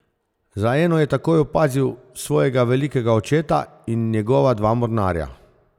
Za eno je takoj opazil svojega velikega očeta in njegova dva mornarja.